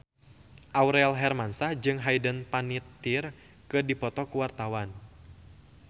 Aurel Hermansyah jeung Hayden Panettiere keur dipoto ku wartawan